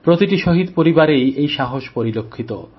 প্রতিটি শহীদ পরিবারেই এই সাহস পরিলক্ষিত